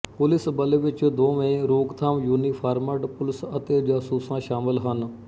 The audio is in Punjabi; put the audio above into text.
ਪੁਲਿਸ ਬਲ ਵਿੱਚ ਦੋਵੇ ਰੋਕਥਾਮ ਯੂਨੀਫਾਰਮਡ ਪੁਲਿਸ ਅਤੇ ਜਾਸੂਸਾਂ ਸ਼ਾਮਲ ਹਨ